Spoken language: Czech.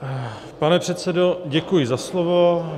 Pane předsedo, děkuji za slovo.